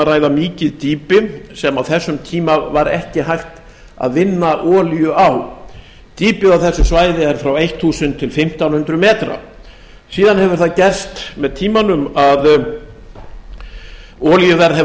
ræða mikið dýpi sem á þessum tíma var ekki hægt að vinna olíu á dýpið á þessu svæði er frá þúsund til fimmtán hundruð metrar síðan hefur það gerst með tímanum að olíuverð hefur